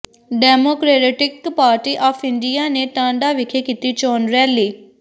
democratic party of India ਨੇ ਟਾਂਡਾ ਵਿਖੇ ਕੀਤੀ ਚੋਣ ਰੈਲੀ